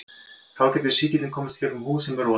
Þá getur sýkillinn komist gegnum húð sem er rofin.